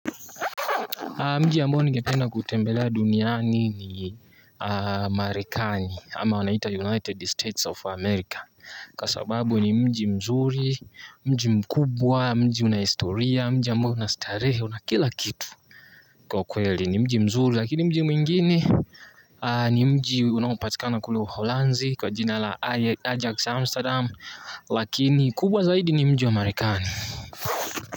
Mji ambao ningependa kutembelea duniani ni Marekani ama wanaita United States of America. Kwa sababu ni mji mzuri, mji mkubwa, mji una historia, mji ambao una starehe una kila kitu. Kwa kweli ni mji mzuri lakini mji mwingine ni mji unaopatikana kule uholanzi kwa jina la Ajax Amsterdam lakini kubwa zaidi ni mji amarekani.